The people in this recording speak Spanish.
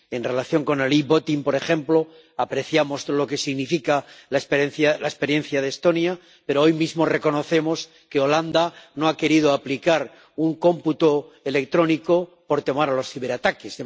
En relación con el e-voting por ejemplo, apreciamos lo que significa la experiencia de Estonia, pero hoy mismo reconocemos que Holanda no ha querido aplicar un cómputo electrónico por temor a los ciberataques.